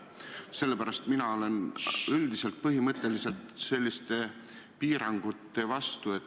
Sellepärast olen mina põhimõtteliselt selliste piirangute vastu.